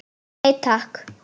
Nei, takk.